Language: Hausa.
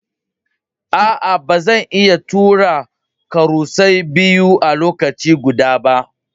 Aa, ba zan iya tura karusai biyu a lokaci guda ba.